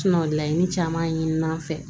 laɲini caman ɲini n'an fɛ